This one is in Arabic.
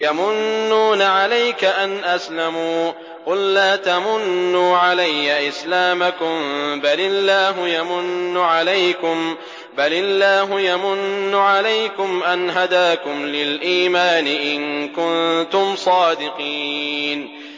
يَمُنُّونَ عَلَيْكَ أَنْ أَسْلَمُوا ۖ قُل لَّا تَمُنُّوا عَلَيَّ إِسْلَامَكُم ۖ بَلِ اللَّهُ يَمُنُّ عَلَيْكُمْ أَنْ هَدَاكُمْ لِلْإِيمَانِ إِن كُنتُمْ صَادِقِينَ